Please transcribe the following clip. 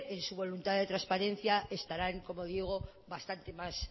en su voluntad de transparencia estarán como digo bastante más